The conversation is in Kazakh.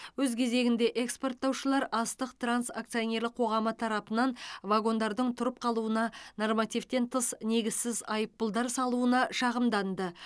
өз кезегінде экспорттаушылар астық транс акционерлік қоғамы тарапынан вагондардың тұрып қалуына нормативтен тыс негізсіз айыппұлдар салуына шағымданды